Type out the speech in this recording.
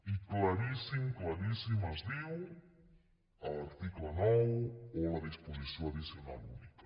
i claríssim claríssim es diu a l’article nou o a la disposició addicional única